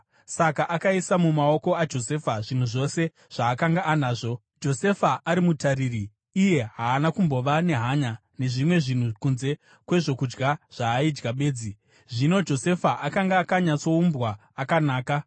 Saka akaisa mumaoko aJosefa zvinhu zvose zvaakanga anazvo; Josefa ari mutariri, iye haana kumbova nehanya nezvimwe zvinhu kunze kwezvokudya zvaaidya bedzi. Zvino Josefa akanga akanyatsoumbwa, akanaka,